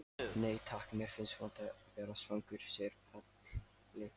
Nei takk, mér finnst vont að vera svangur, segir Palli.